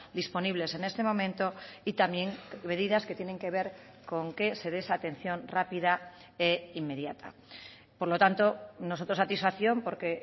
disponibles en este momento y también medidas que tienen que ver con que se de esa atención rápida e inmediata por lo tanto nosotros satisfacción porque